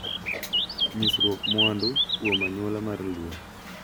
Nyisruok mwandu kuom anyuola mar Luo.